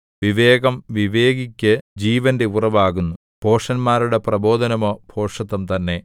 വിവേകം വിവേകിക്ക് ജീവന്റെ ഉറവാകുന്നു ഭോഷന്മാരുടെ പ്രബോധനമോ ഭോഷത്തം തന്നെ